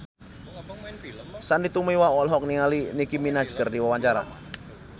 Sandy Tumiwa olohok ningali Nicky Minaj keur diwawancara